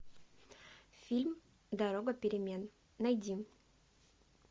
фильм дорога перемен найди